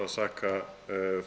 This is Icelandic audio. saka